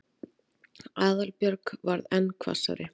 Aðalbjörg varð enn hvassari.